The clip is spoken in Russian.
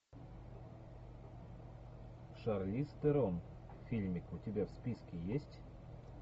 шарлиз терон фильмик у тебя в списке есть